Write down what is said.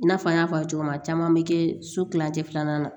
I n'a fɔ n y'a fɔ cogo min na caman be kɛ so kilancɛ filanan na